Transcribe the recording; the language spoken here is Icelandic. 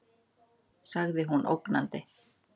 sagði hún ógnandi.